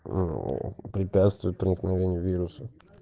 препятствует проникновению вирусов